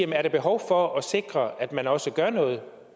der er behov for at sikre at man også gør noget